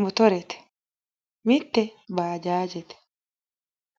motorete mitte baajaajete.